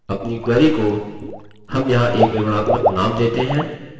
अपनी query को हम यहाँ एक विवरणात्मक name देते हैं